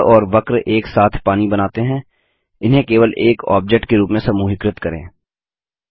त्रिकोण और वक्र एक साथ पानी बनाते हैं इन्हें केवल एक ऑब्जेक्ट के रूप में समूहीकृत करें